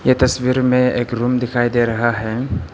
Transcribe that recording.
ये तस्वीर में एक रूम दिखाई दे रहा है।